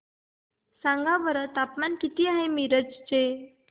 सांगा बरं तापमान किती आहे मिरज चे